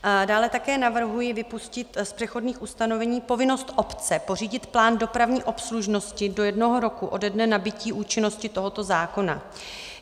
Dále také navrhuji vypustit z přechodných ustanovení povinnost obce pořídit plán dopravní obslužnosti do jednoho roku ode dne nabytí účinnosti tohoto zákona.